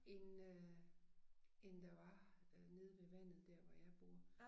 End øh end der var øh nede ved vandet dér hvor jeg bor